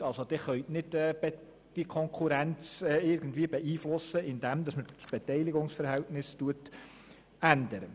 Sie können nicht die Konkurrenz beeinflussen, indem Sie das Beteiligungsverhältnis ändern.